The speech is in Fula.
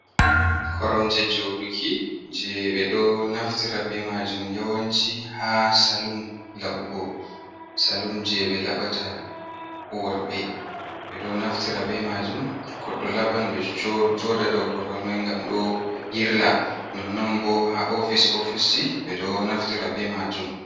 Koromje joduki je ɓe ɗo naftira ɓe majum yawanci ha salum laɓugo salum je ɓe labata worɓe ɓeɗo naftira ɓe majum to goɗɗo laɓan ɓeɗo joɗa dow korwal mai ngam ɗo yirla nonnon bo ha ofis ofis ji ɓeɗo naftira be majum.